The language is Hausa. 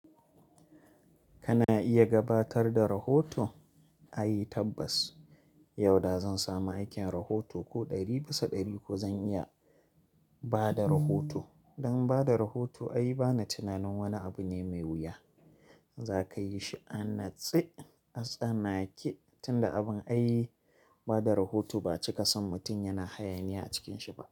Kana iya gabatar da rahoto? Ai tabbas. Yau da zan samu aikin rahoto ko ɗari bisa ɗari ko zan iya bada rahoto. Dan bada rahoto ayi bana tunanin wani abu ne mai wuya. Za ka yi shi a natse. Atsanake tunda abin ai bada rahoto ba cika son mutum yana hayaniya a cikin shi ba.